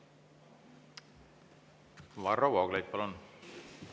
Varro Vooglaid, palun!